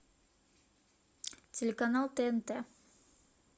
телеканал тнт